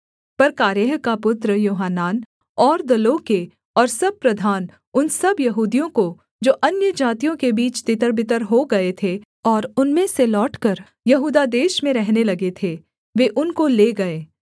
पर कारेह का पुत्र योहानान और दलों के और सब प्रधान उन सब यहूदियों को जो अन्यजातियों के बीच तितरबितर हो गए थे और उनमें से लौटकर यहूदा देश में रहने लगे थे वे उनको ले गए